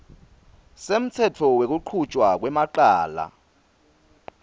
semtsetfo wekuchutjwa kwemacala